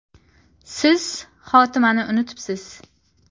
“Siz xotimani unutibsiz”.